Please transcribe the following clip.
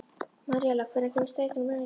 Maríella, hvenær kemur strætó númer eitt?